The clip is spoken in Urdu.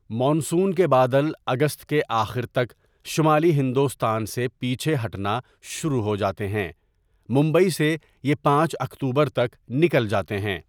مون سون کے بادل اگست کے آخر تک شمالی ہندوستان سے پیچھے ہٹنا شروع ہو جاتے ہیں، ممبئی سے یہ پانچ اکتوبر تک نکل جاتے ہیں۔